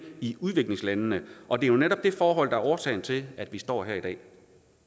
i udviklingslandene og det er jo netop det forhold der er årsagen til at vi står her i dag